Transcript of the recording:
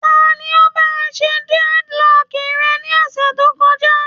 Ta ni ó bá ọ ṣe dreadlock rẹ ní ọ̀sẹ̀ tó kọjá?